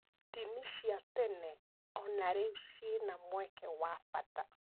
Ndini cia tene o na rĩu ciĩna mweke wa bata.